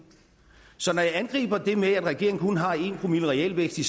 så når jeg angriber det med at regeringen kun har en promille i realvækst i